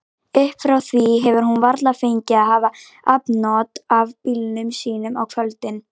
Upp frá því hefur hún varla fengið að hafa afnot af bílnum sínum á kvöldin.